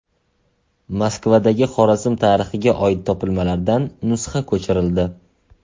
Moskvadagi Xorazm tarixiga oid topilmalardan nusxa ko‘chirildi.